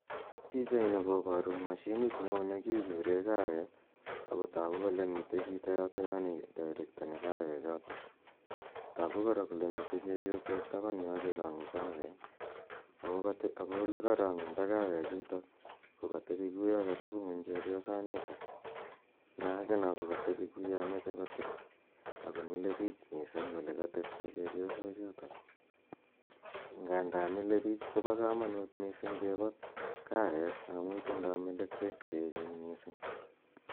Pichaini koparu mashinit ne oo ne kichure kaweek ako tagu kole mitei chito yatayo nedairektani kawechotok. Tagu kora kole mitei chepyosok tapan yo che tache kaweek. Ako ole karang'undo kawechutok ko katepi ko ya katepi ng'uny chepyosanitak , na ake ko katepi ko ya mache kotil, ako mile piich missing' ole katepto chepyosochutok. Nganda mile piich ko pa kamaut missing kipat kaweek amu tindai melekwek che echen missing'.